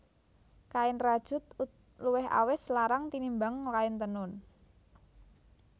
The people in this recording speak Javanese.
Kain rajut luwih awis larang tinimbang kain tenun